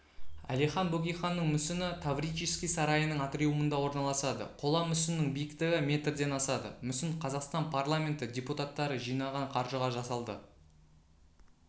әлихан бөкейханның мүсіні таврический сарайының атриумында орналасады қола мүсіннің биіктігі метрден асады мүсін қазақстан парламенті депутаттары жинаған қаржыға жасалды